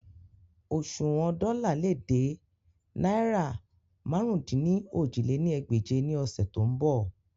Oṣuwọn dola le de naira màrún-dín-ní-ojì lé ní ẹgbẹ́je ni ọsẹ to nbọ